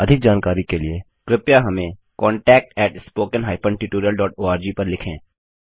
अधिक जानकारी के लिए कृपया contactspoken hyphen tutorial dot ORG पर संपर्क करें